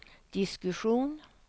diskussion